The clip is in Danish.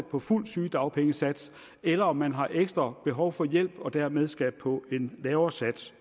på fuld sygedagpengesats eller om man har ekstra behov for hjælp og dermed skal på en lavere sats